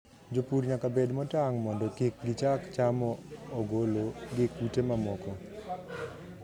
Jopur nyaka bed motang' mondo kik gichak chamo ogolo gi kute mamoko.